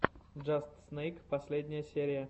джаст снэйк последняя серия